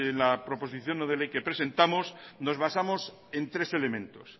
la proposición no de ley que presentamos nos basamos en tres elementos